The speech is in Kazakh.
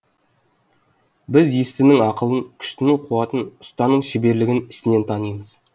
біз естінің ақылын күштінің қуатын ұстаның шеберлігін ісінен танимыз